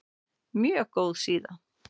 Mjög góð síða.